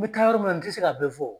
N bɛ taa yɔrɔ min na n tɛ se k'a bɛɛ fɔ.